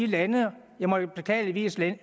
lande og her må jeg jo beklageligvis nævne